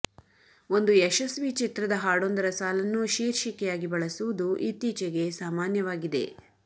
ಒಂದು ಯಶಸ್ವಿ ಚಿತ್ರದ ಹಾಡೊಂದರ ಸಾಲನ್ನು ಶೀರ್ಷಿಕೆಯಾಗಿ ಬಳಸುವುದು ಇತ್ತೀಚಿಗೆ ಸಾಮಾನ್ಯವಾಗಿದೆ